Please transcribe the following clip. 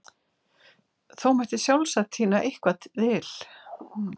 Þó mætti sjálfsagt tína eitthvað til ef vel væri leitað.